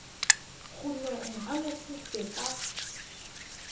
kgonong a mo futse ka